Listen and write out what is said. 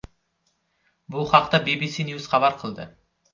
Bu haqda BBC News xabar qildi.